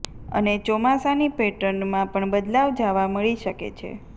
અને ચોમાસાની પેટર્નમાં પણ બદલાવ જાવા મળી શકે છે